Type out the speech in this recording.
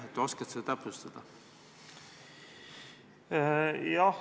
Oskad sa täpsustada?